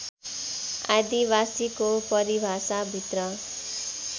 आदिवासीको परिभाषाभित्र